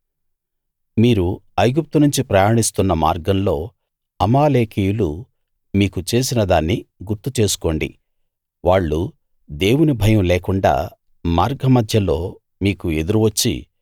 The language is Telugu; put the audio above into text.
మీరు ఐగుప్తు నుంచి ప్రయాణిస్తున్న మార్గంలో అమాలేకీయులు మీకు చేసిన దాన్ని గుర్తు చేసుకోండి వాళ్ళు దేవుని భయం లేకుండా మార్గమధ్యలో మీకు ఎదురు వచ్చి